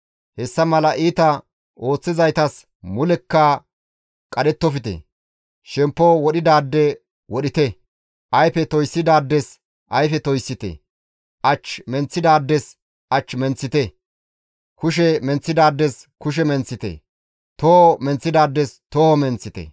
Hessa mala iita ooththizaytas mulekka qadhettofte; shemppo wodhidaade wodhite; ayfe toyssidaades ayfe toyssite; ach menththidaades ach menththite; kushe menththidaades kushe menththite; toho menththidaades toho menththite.